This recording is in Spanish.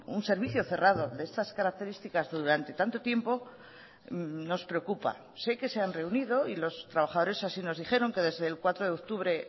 un servicio cerrado de estas características durante tanto tiempo nos preocupa sé que se han reunido y los trabajadores así nos dijeron que desde el cuatro de octubre